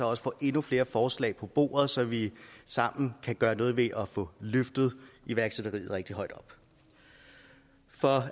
også får endnu flere forslag på bordet så vi sammen kan gøre noget ved at få løftet iværksætteriet rigtig højt op for